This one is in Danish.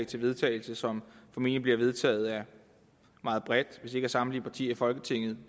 til vedtagelse som formentlig bliver vedtaget af et meget bredt flertal hvis ikke samtlige partier i folketinget